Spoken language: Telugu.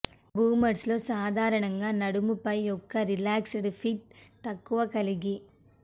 బూమర్స్లో సాధారణంగా నడుము పై ఒక రిలాక్స్డ్ ఫిట్ తక్కువ కలిగి